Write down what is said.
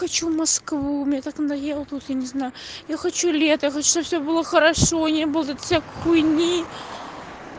хочу в москву меня так надоело тут я не знаю я хочу лето я хочу что всё было хорошо не было вот этой всякой хуйни